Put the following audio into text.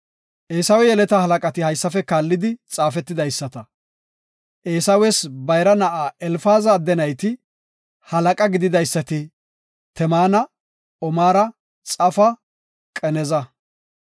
Eesawe yeleta halaqati haysafe kaallidi xaafetidaysata; Eesawes bayra na7a Elfaaza adde nayti, halaqa gididaysati Temaana, Omaara, Xafa, Qanaza,